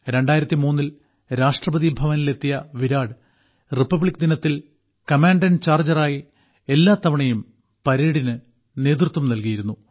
2003ൽ രാഷ്ട്രപതിഭവനിലെത്തിയ വിരാട് റിപ്പബ്ലിക്ദിനത്തിൽ കമാൻഡന്റ് ചാർജ്ജറായി എല്ലാത്തവണയും പരേഡിന് നേതൃത്വം നൽകിയിരുന്നു